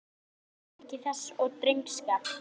Ég virði hugrekki þess og drengskap.